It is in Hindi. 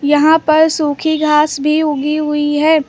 यहां पर सूखी घास भी उगी हुई है।